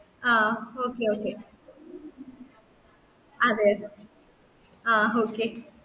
ആ okay okay അതെ അതെ ആ okay